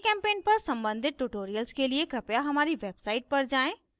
gchempaint पर सम्बंधित tutorials के लिए कृपया हमारी website पर जाएँ